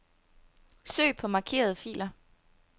Søg på markerede filer.